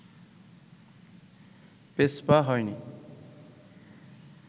পেছপা হয়নি